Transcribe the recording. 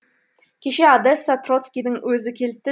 кеше одессаға троцкийдің өзі келіпті